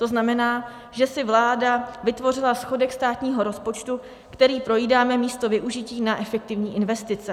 To znamená, že si vláda vytvořila schodek státního rozpočtu, který projídáme, místo využití na efektivní investice.